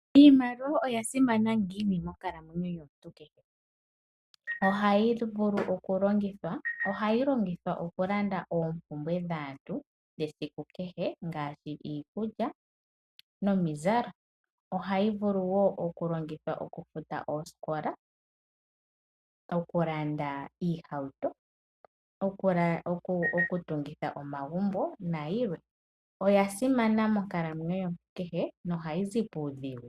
Iimaliwa oya simana ngiini monkalamwenyo yomuntu kehe? Ohayi vulu okulongithwa, ohayi longithwa okulanda oompumbwe dhaantu dhesiku kehe, ngaashi iikulya nomizalo. Ohayi vulu wo okulongithwa okufuta oosikola, okulanda iihauto, okutungitha omagumbo nayilwe. Oya simana monkalamwenyo yomuntu kehe nohayi zi puudhigu.